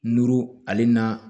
Nuru ale na